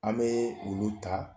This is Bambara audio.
An bɛɛ ulu ta